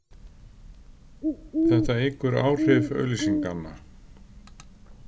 Þetta eykur áhrif auglýsinganna.